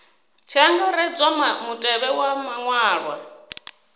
tshi angaredzwa mutevhe wa maṅwalwa